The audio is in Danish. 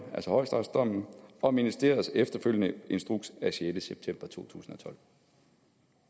altså højesteretsdommen og ministeriets efterfølgende instruks af sjette september to tusind